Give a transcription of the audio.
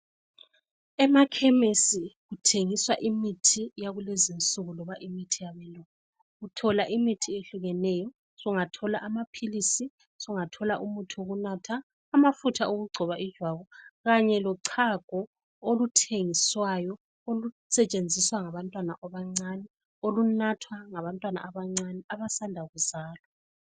Emakhemisi kuthengiswa imithi yakulezinsuku loba imithi yabelungu uthola imithi eyehlukeneyo. Sungathola amaphilisi, umuthi wokunatha, amafutha okugcoba ijwabu Kanye lochago oluthengiswayo olusetshenziswa ngabantwana abancane. Olunathwa ngabantwana abancane abasanda kuzalwa.